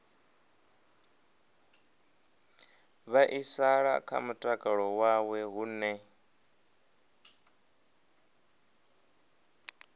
vhaisala kha mutakalo wawe hune